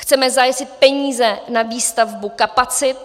Chceme zajistit peníze na výstavbu kapacit.